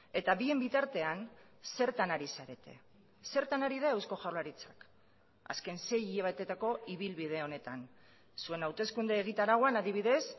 eta bien bitartean zertan ari zarete zertan ari da eusko jaurlaritzak azken sei hilabeteetako ibilbide honetan zuen hauteskunde egitarauan adibidez